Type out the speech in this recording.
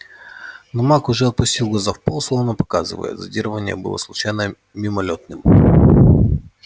но маг уже опустил глаза в пол словно показывая зондирование было случайным мимолётным